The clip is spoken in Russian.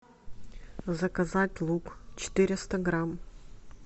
заказать лук четыреста грамм